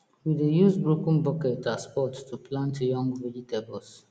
we dey use broken bucket as pot to plant young vegetable